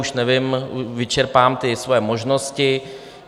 Už nevím, vyčerpám ty svoje možnosti.